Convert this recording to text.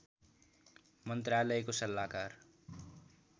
मन्त्रालयको सल्लाहकार